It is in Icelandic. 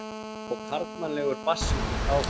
Og karlmannlegur bassinn hélt áfram.